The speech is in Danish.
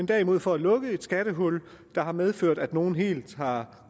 derimod for at lukke et skattehul der har medført at nogle helt har